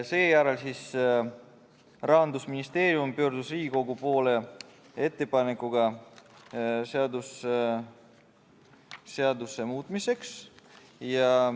Seejärel pöördus Rahandusministeerium Riigikogu poole ettepanekuga seaduse muutmiseks.